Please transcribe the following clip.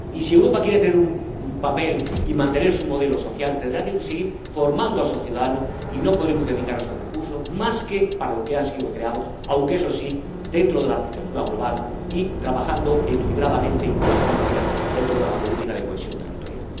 y si Europa quiere tener un papel y mantener su modelo social, tendrá que seguir formando a sus ciudadanos y no podremos dedicar nuestros recursos más que a aquello para lo que han sido creados, aunque, eso sí, dentro de la arquitectura global y trabajando equilibradamente y con sinergias dentro de la política de cohesión territorial.